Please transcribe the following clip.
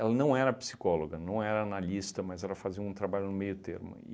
Ela não era psicóloga, não era analista, mas ela fazia um trabalho no meio termo.